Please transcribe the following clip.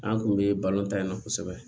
An kun bɛ balontan in na kosɛbɛ